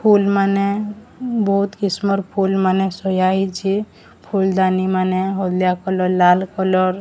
ଫୁଲ ମାନେ ବୋହୁତ କିସମର ଫୁଲ ମାନେ ସଜା ହେଇଛେ। ଫୁଲଦାନି ମାନେ ହଲଦିଆ କଲର ଲାଲ କଲର ।